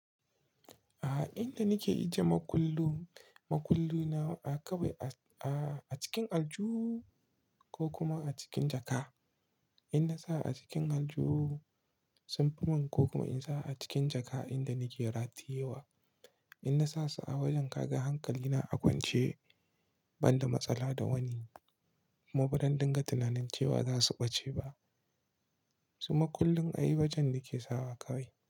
A inda nike ajiye makullu, makullu na a kawai a cikin aljuhu ko kuma a cikin jaka. In na sa a cikin aljuhu sunfi manko kuma in sa a cikin jaka inda nike ratayewa. In na sa su a wajen kaga hankali na a kwance ban da matsala da wani, kuma ba zan dinga tunanin cewa za su ɓace ba. Su makullin a yi wajen nake sawa kawai.